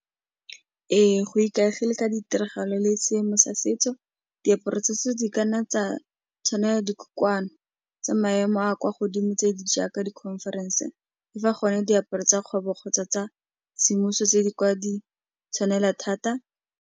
Ee, go ikaegile ka ditiragalo le seemo sa setso, diaparo tsa setso di kanna tsa tshwanela , tsa maemo a kwa godimo tse di jaaka di-conference-e, fa gone diaparo tsa kgwebo kgotsa tsa semmuso tse di kwa di tshwanela thata.